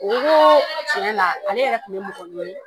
tiɲɛ na ale yɛrɛ kun bɛ mɔgɔ ɲini